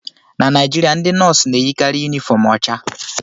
Na Naijiria, ndị nọọsụ na-eyikarị yunifọm ọcha